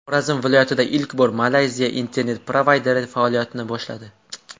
Xorazm viloyatida ilk bor Malayziya internet-provayderi faoliyatini boshladi.